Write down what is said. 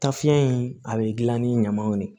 Tafiɲɛ in a be gilan ni ɲamanw de ye